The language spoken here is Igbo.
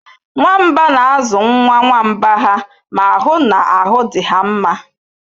Nwamba na-azụ nwa nwamba ha ma hụ na ahụ dị ha mma